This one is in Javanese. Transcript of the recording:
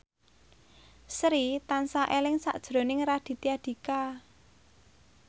Sri tansah eling sakjroning Raditya Dika